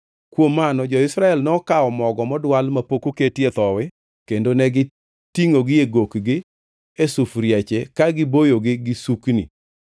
Kuom mano jo-Israel nokawo mogo modwal mapok oketie thowi kendo negitingʼogi e gokgi e sufuriache ka giboyogi gi sukni.